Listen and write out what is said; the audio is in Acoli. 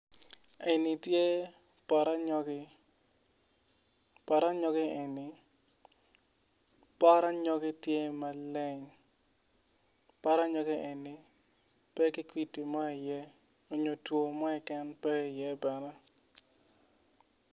En ni tye poto anyogi poto anyogi eni pot anyogi tye maleng pot anyogi eni pe ki kwidi mo iye onyo two mo iken pe iye